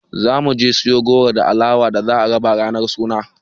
Za mu je siyo goro da alawa da za a raba ranar suna.